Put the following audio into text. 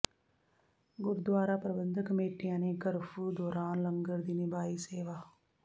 ਗੁਰਦੁਆਰਾ ਪ੍ਰਬੰਧਕ ਕਮੇਟੀਆਂ ਨੇ ਕਰਫਿਊ ਦੌਰਾਨ ਲੰਗਰ ਦੀ ਨਿਭਾਈ ਸੇਵਾ